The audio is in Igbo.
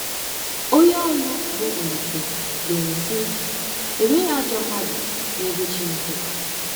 Onye ọrụ bụ́ Olise dere, sị: “Enweghị ajọ mmadụ n'ebe Chineke nọ.